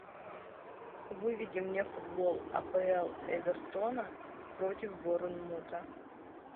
выведи мне футбол апл эвертона против борнмута